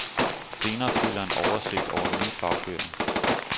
Senere følger en oversigt over nye fagbøger.